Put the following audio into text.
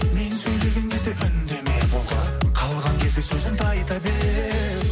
мен сөйлеген кезде үндеме болды қалған кезде сөзіңді айта бер